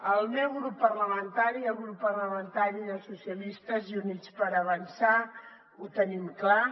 el meu grup parlamentari el grup parlamentari socialistes i units per avançar ho tenim clar